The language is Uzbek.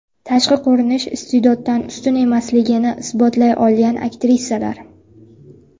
Tashqi ko‘rinish iste’doddan ustun emasligini isbotlay olgan aktrisalar .